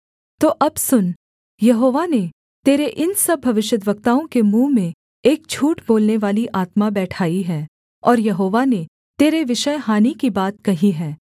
तो अब सुन यहोवा ने तेरे इन सब भविष्यद्वक्ताओं के मुँह में एक झूठ बोलनेवाली आत्मा बैठाई है और यहोवा ने तेरे विषय हानि की बात कही है